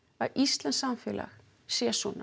að íslenskt samfélag sé svona